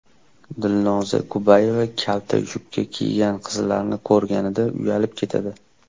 Dilnoza Kubayeva kalta yubka kiygan qizlarni ko‘rganida uyalib ketadi.